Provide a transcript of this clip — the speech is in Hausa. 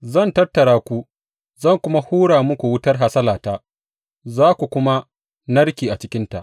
Zan tattara ku zan kuma hura muku wutar hasalata, za ku kuma narke a cikinta.